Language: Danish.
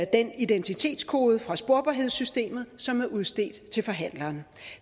den identitetskode fra sporbarhedssystemet som er udstedt til forhandleren